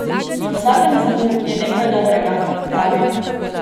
V vsakem zlu je nekaj dobrega, pravijo.